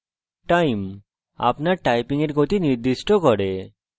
time – আপনার typing গতি নির্দিষ্ট করে